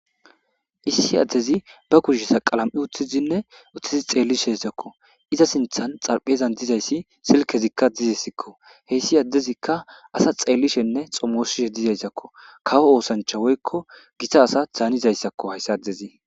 Issi adezi ba kusheza qala'ami utidine gede xelishdizaysako iza sinthan xarizan dizays silikezika diziko Hays adezika asa xelishene xomosishe dizayisako kowo osanicha woyiko gita asa danizayisako